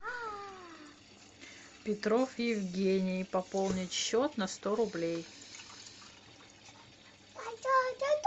петров евгений пополнить счет на сто рублей